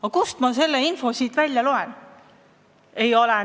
Aga kust ma selle info siit välja loen?